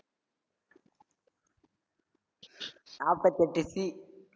நாப்பத்தெட்டு T